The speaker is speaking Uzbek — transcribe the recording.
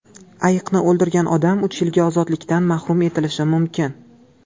Ayiqni o‘ldirgan odam uch yilga ozodlikdan mahrum etilishi mumkin.